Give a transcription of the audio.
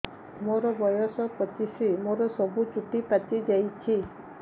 ମୋର ବୟସ ପଚିଶି ମୋର ସବୁ ଚୁଟି ପାଚି ଯାଇଛି